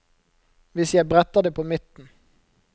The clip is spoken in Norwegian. Hvis jeg bretter det på midten.